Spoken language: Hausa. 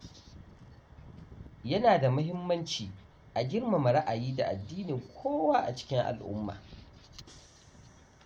Yana da muhimmanci a girmama ra’ayi da addinin kowa a cikin al’umma.